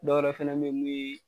Dɔw wɛrɛ fana bɛ yen mun ye.